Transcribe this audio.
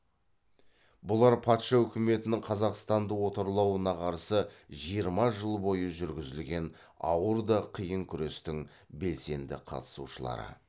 бұлар патша үкіметінің қазақстанды отарлауына қарсы жиырма жыл бойы жүргізілген ауыр да қиын күрестің белсенді қатысушылары